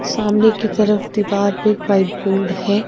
सामने की तरफ दीवार पे एक वाइट बोर्ड है।